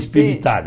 Espivitada.